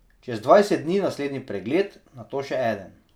Čez dvajset dni naslednji pregled, nato še eden.